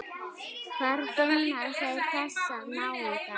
Hvar finna þeir þessa náunga??